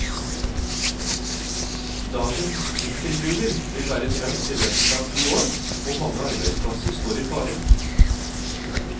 Dagens nikkelgruver vil være tømt i løpet av to år, og mange arbeidsplasser står i fare.